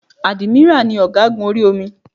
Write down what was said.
Ádímírà ni ọ̀gágun orí omi